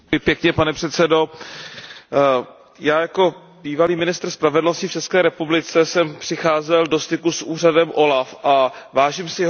Já jako bývalý ministr spravedlnosti v ČR jsem přicházel do styku s úřadem OLAF a vážím si jeho práce a považuji ji za důležitou.